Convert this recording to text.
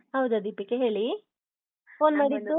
ಹೌದಾ ದೀಪಿಕಾ ಹೇಳಿ, phone.